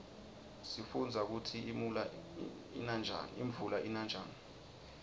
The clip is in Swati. sifundza kutsi imuula ina njani